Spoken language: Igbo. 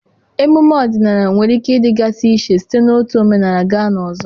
emume ọdịnala nwere ike ịdịgasị iche site n'otu omenala gaa n'ọzọ